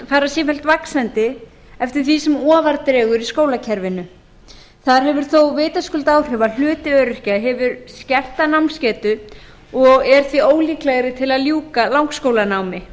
fara sífellt vaxandi eftir því sem ofar dregur í skólakerfinu þar hefur þó vitaskuld áhrif að hluti öryrkja hefur skerta námsgetu og er því ólíklegri til að ljúka langskólanámi